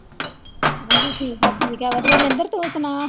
ਹਾਂਜੀ ਠੀਕ ਆ ਠੀਕ ਹੈ ਵਧੀਆ ਨਿੰਦਰ ਤੂੰ ਸੁਣਾ।